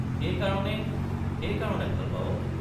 সেই কাৰণে—সেই কাৰণে ভাল পাৱ?